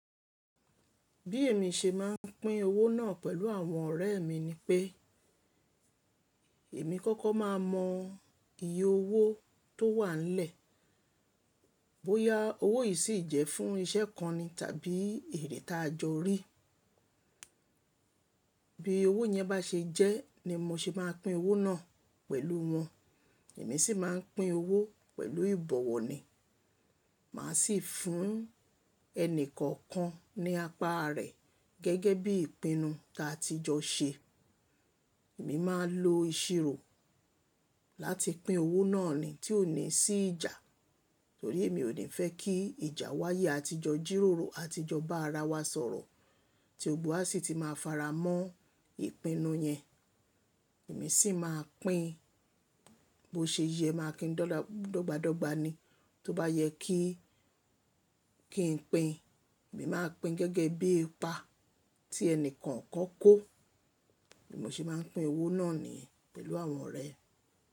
Bí èmi ṣe máà ń pín owó náà pẹ̀lú àwọn ọ̀rẹ́ mi ni pé, èmi kọ́kọ́ máa mọ, iye owó tó wà nlẹ̀, bóyá owó yìí sì jẹ́ fún ìṣẹ́ kan ni tàbí èrètájọ́ rí. Bíì owó yẹn bá ṣe jẹ́, ni mo ṣe máà pín owó náà, pẹ̀lú wọn. Èmi sì máà ń pín owó pẹ̀lú ìbọ̀wọ̀ ni, màá sì fún, ẹni kọ̀ọ̀kan ní apá rẹ̀, gẹ́gẹ́ bí ìpinnu ta ti jọ ṣe. Èmi máà lo ìṣirò, láti pín owó náà ni tí ó ní sí ìjà, torí èmi ò ní fẹ́ kí ìjà wáyé àti jọ jíróró, àti jọ bá ara wa sọ̀rọ̀, tí ògbó á sì ti máa fara mọ́ ìpinnu yẹn. Èmi sì máa pín, bó ṣe yẹ máà kín dọ́gba dọ́gba ni. Tóbá yẹ kí, kin pín, èmi máa pín gẹ́gẹ́ bíi ipa, tí ẹni kọ̀ọ̀kan kó. Bí mo ṣe máà ń pín owó náà ni pẹ̀lú àwọn ọ̀rẹ́.